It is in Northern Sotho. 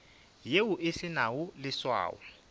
yeo e se nago leswao